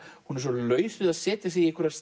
hún er svo laus við að setja sig í einhverjar